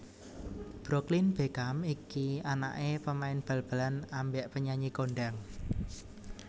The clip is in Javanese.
Brooklyn Beckham iki anak e pemain bal balan ambek penyanyi kondang